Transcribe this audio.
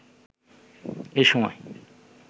এ সময়